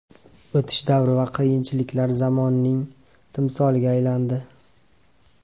O‘tish davri va qiyinchiliklar zamonining timsoliga aylandi.